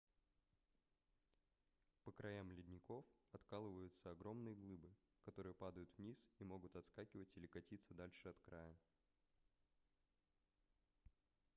по краям ледников откалываются огромные глыбы которые падают вниз и могут отскакивать или катиться дальше от края